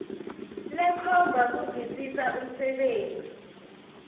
lekhomba kuvisisa umsebenti